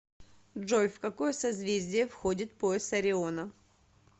джой в какое созвездие входит пояс ориона